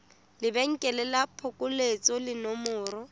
lebenkele la phokoletso le nomoro